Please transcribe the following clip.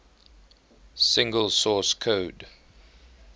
single source code